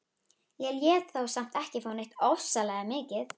Ég lét þá samt ekki fá neitt ofsalega mikið.